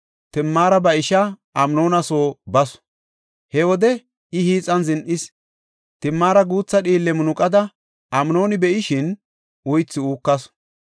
Timaara ba ishaa Amnoona soo basu; he wode I hiixan zin7is. Timaara guutha dhiille munuqada Amnooni be7ishin uythi uukasu.